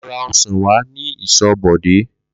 Lo̩ ra o̩sàn wá ní ìsò̩ Bò̩dé!